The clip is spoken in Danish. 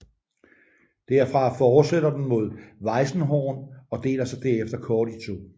Derfra fortsætter den mod Weißenhorn og deler sig derefter kort i to